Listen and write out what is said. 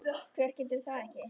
Hver getur það ekki?